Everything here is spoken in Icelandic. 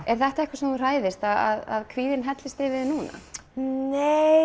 er þetta eitthvað sem þú að kvíðinn hellist yfir þig núna nei